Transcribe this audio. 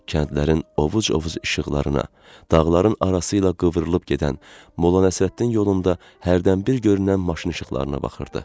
Kəndlərin ovuc-ovuc işıqlarına, dağların arası ilə qıvrılıb gedən, Molla Nəsrəddin yolunda hərdən bir görünən maşın işıqlarına baxırdı.